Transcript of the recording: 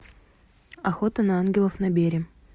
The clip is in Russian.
охота на ангелов набери